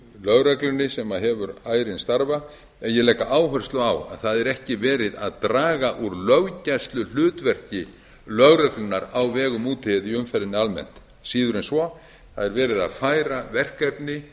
lögreglunni sem hefur ærinn starfa en ég legg áherslu á að það er ekki verið að draga úr löggæsluhlutverki lögreglunnar á vegum úti eða í umferðinni almennt síður en svo það er verið að færa verkefni